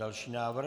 Další návrh.